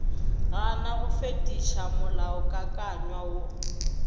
gana go fetiša molaokakanywa wo